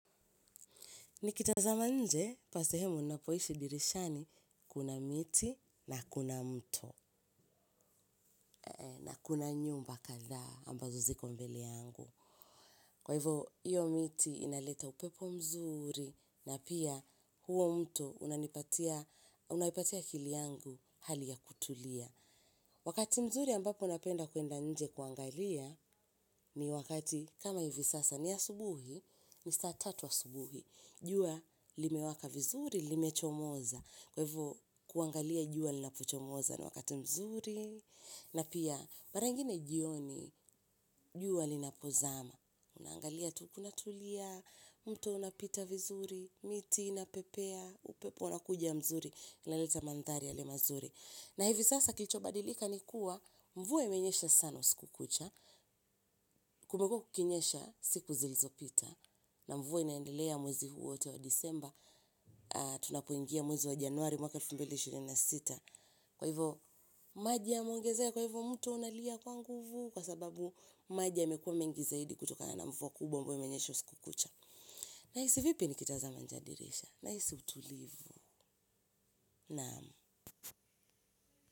Nikitazama nje, pa sehemu ninapoishi dirishani, kuna miti na kuna mto. Na kuna nyumba kadhaa ambazo ziko mbele yangu. Kwa hivyo, hiyo miti inaleta upepo mzuri na pia huo mto unapatia akili yangu hali ya kutulia. Wakati mzuri ambapo napenda kwenda nje kuangalia ni wakati kama hivi sasa, ni asubuhi, ni saa tatu za asubuhi. Jua limewaka vizuri, limechomoza, kwa hivyo kuangalia jua linapochomoza ni wakati mzuri, na pia mara nyingine jioni. Jua linapozama, unaangalia tu unatulia, mto unapita vizuri, miti inapepea, upepo unakuja mzuri, inaleta mandhari mazuri. Na hivi sasa kilichobadilika ni kuwa mvua imenyesha sana usiku kucha. Kumekuwa kukinyesha siku zilizopita, na mvua inaendelea mwezi huu wote wa Desemba. Tunapoingia mwezi wa Januari mwaka elfu mbili na ishirini na sita, kwa hivyo maji yameongezeka. Kwa hivyo, mto unalia kwa nguvu, kwa sababu maji yamekuwa mengi zaidi kutokana na mvua kubwa ambayo imenyesha usiku kucha. Nahisi vipi nikitazama nje ya dirisha, nahisi utulivu.